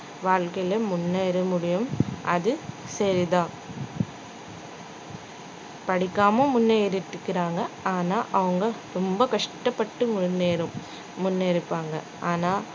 வாழ்க்கையில முன்னேற முடியும் அது சரிதான் படிக்காம முன்னேறிட்டு இருக்கறாங்க ஆனா அவங்க ரொம்ப கஷ்டபட்டு முன்னேறும்~ முன்னேறிருப்பாங்க ஆனா